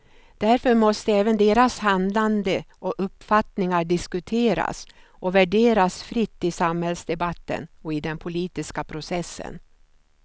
Därför måste även deras handlande och uppfattningar diskuteras och värderas fritt i samhällsdebatten och i den politiska processen.